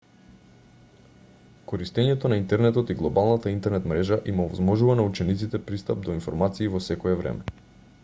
користењето на интернетот и глобалната интернет мрежа им овозможува на учениците пристап до информации во секое време